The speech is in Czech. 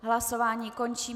Hlasování končím.